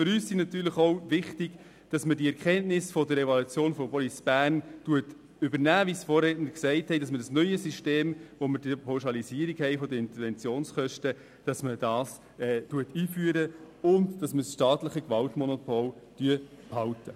Wichtig für uns ist, dass wir – wie es die Vorredner sagten – die Erkenntnisse der Evaluation von Police Bern übernehmen, das neue System der Pauschalisierung der Interventionskosten einführen und das staatliche Gewaltmonopol behalten.